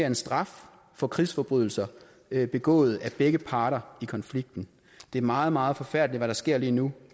en straf for krigsforbrydelser begået af begge parter i konflikten det er meget meget forfærdeligt hvad der sker lige nu